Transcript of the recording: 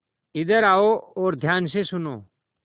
इधर आओ और ध्यान से सुनो